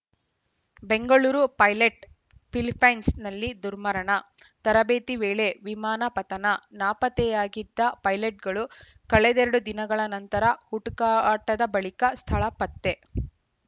Bengaluru pilot ಫಿಲಿಪ್ಪೀನ್ಸ್‌ನಲ್ಲಿ ದುರ್ಮರಣ ತರಬೇತಿ ವೇಳೆ ವಿಮಾನ ಪತನ ನಾಪತ್ತೆಯಾಗಿದ್ದ ಪೈಲಟ್‌ಗಳು ಕಳೆದೆರಡು ದಿನಗಳ ನಿರಂತರ ಹುಡುಕಾಟದ ಬಳಿಕ ಸ್ಥಳ ಪತ್ತೆ